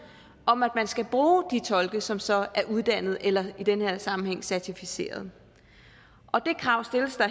om at man skal bruge de tolke som så er uddannet eller i den her sammenhæng certificeret det krav stilles der